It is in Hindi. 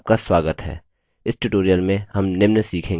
इस tutorial में हम निम्न सीखेंगे